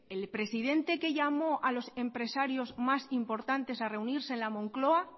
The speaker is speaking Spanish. el presidente que llamó a los empresarios más importantes a reunirse en la moncloa